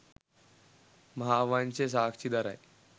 මහාවංශය සාක්ෂි දරයි.